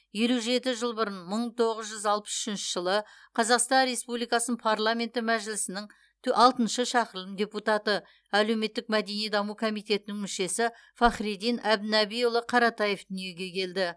елу жеті жыл бұрын мың тоғыз жүз алпыс үшінші жылы қазақстан республикасының парламенті мәжілісінің тө алтыншы шақырылым депутаты әлеуметтік мәдени даму комитетінің мүшесі фахриддин әбдінабиұлы қаратаев дүниеге келді